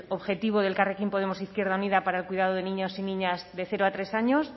objetivo de elkarrekin podemos izquierda unida para el cuidado de niños y niñas de cero a tres años